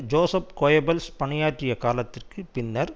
Joseph Goebbels பணியாற்றிய காலத்திற்கு பின்னர்